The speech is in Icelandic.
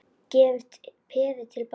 Gefur peðið til baka.